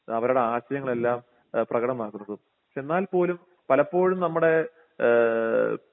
അവരുടെ ആശയങ്ങളെല്ലാം ഏ പ്രകടമാക്കുന്നതും എന്നാൽപോലും പലപ്പോഴും നമ്മടെ ഏഹ്